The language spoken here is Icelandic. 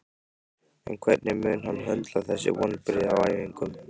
En hvernig mun hann höndla þessi vonbrigði á æfingum?